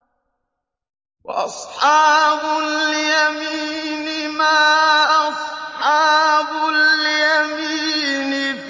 وَأَصْحَابُ الْيَمِينِ مَا أَصْحَابُ الْيَمِينِ